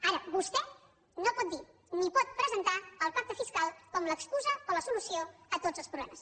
ara vostè no pot dir ni pot presentar el pacte fiscal com l’excusa o la solució a tots els problemes